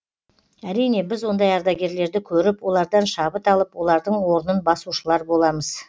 әрине біз ондай ардагерлерді көріп олардан шабыт алып олардың орнын басушылар боламыз